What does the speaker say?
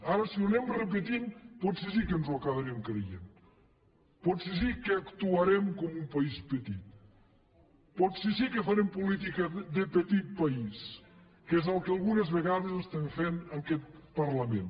ara si ho anem repetint potser sí que ens ho acabarem creient potser sí que actuarem com un país petit potser sí que farem política de petit país que és el que algunes vegades estem fent en aquest parlament